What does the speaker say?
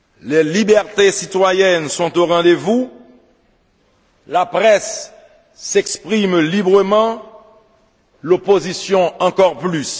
les libertés citoyennes sont au rendez vous, la presse s'exprime librement, l'opposition encore plus